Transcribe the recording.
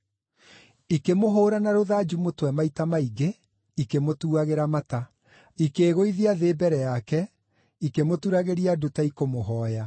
Ikĩmũhũũra na rũthanju mũtwe maita maingĩ ikĩmũtuagĩra mata. Ikĩĩgũithia thĩ mbere yake, ikĩmũturagĩria ndu ta ikũmũhooya.